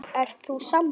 Ert þú sammála?